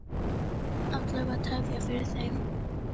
Alla vega tefja fyrir þeim.